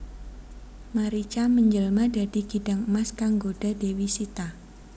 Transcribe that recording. Marica manjelma dadi kidang emas kang nggodha Dewi Sita